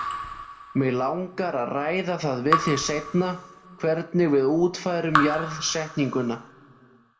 Mig langar að ræða það við þig seinna hvernig við útfærum jarðsetninguna.